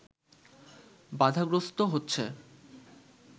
বাধাগ্রস্ত হচ্ছে